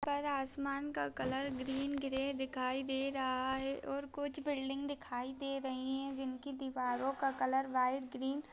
पर आसमान का कलर ग्रीन ग्रे दिखाई दे रहा है और कुछ बिल्डिंग दिखाई दे रही है जिनकी दीवारों का कलर वाइट ग्रीन --